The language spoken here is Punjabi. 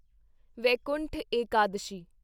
ਵੈਕੁੰਠ ਏਕਾਦਸ਼ੀ